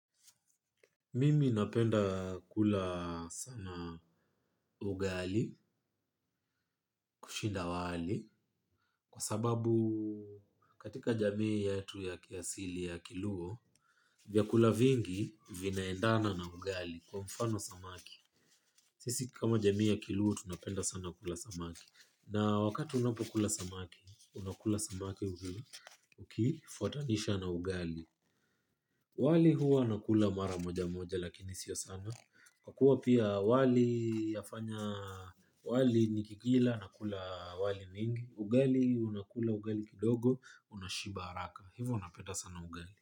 Mimi napenda kula sana ugali kushinda wali. Kwa sababu katika jamii yetu ya kiasili ya kiluo vyakula vingi vinaendana na ugali kwa mfano samaki. Sisi kama jamii ya kiluo tunapenda sana kula samaki. Na wakati unapokula samaki, unakula samaki ukifuatanisha na ugali wali huwa nakula mara moja moja lakini sio sana. Kwa kuwa pia wali yafanya wali nikikila nakula wali mingi ugali unakula ugali kidogo unashiba haraka. Hivyo napenda sana ugali.